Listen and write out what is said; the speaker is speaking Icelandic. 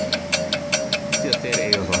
Af því að þeir eiga það.